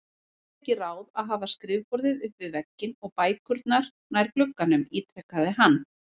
Væri ekki ráð að hafa skrifborðið upp við vegginn og bækurnar nær glugganum? ítrekaði hann.